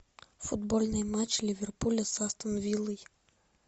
футбольный матч ливерпуля с астон виллой